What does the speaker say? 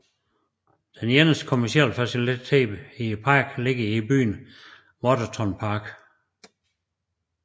Den eneste kommercielle facilitet i parken ligger i byen Waterton Park